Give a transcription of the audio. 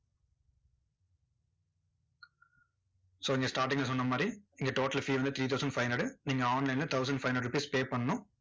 so இங்க starting ல சொன்ன மாதிரி, இங்க total fee வந்து three thousand five hundred நீங்க online ல thousand five hundred rupees pay பண்ணணும்.